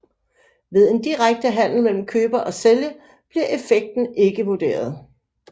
Ved en direkte handel mellem køber og sælger bliver effekten ikke vurderet